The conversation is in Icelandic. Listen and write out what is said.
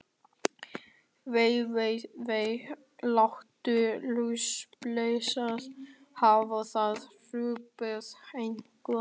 Vei, vei, vei. látum lúsablesana hafa það hrópaði einhver.